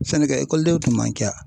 Sɛnɛkɛ tun man ca.